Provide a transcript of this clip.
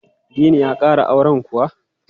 Dini ya ƙara auren kuwa?